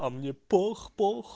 а мне пох пох